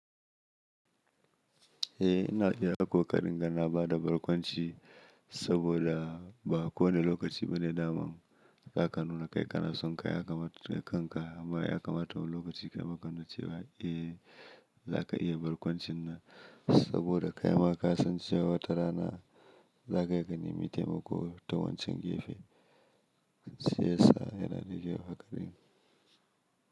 Eh ina iya ko ƙarin ga na bada barkwanci saboda ba kowane lokaci bane da man za ka nuna kai ka na son kai aka mata kai kanka amma ya kamata wani lokaci ka makanuna cewa eh za ka iya barkwancin nan saboda kai ma ka san cewa watara na za ka iyagani mitai mako tawancan gefe sai sa yana da kyau haka ɗin.